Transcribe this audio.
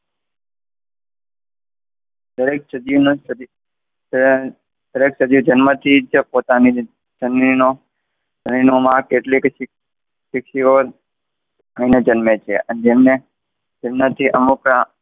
દરેક સજીવને દરેક સજીવ જન્મથી જ પોતાના જનીનો, જનીનો મા કેટલી લઈને જન્મે છે જેને જન્મથી અમુક,